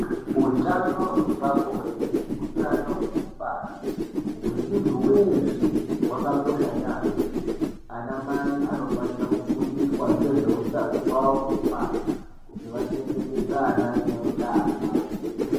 Utano hwepabonde neutano hwekubara hwemuntu weshe hwakakosha yaamho. Ana mai anofana kufundiswa ngezve utano hwavo hwekubara kuti vachengetedze ana vane utano.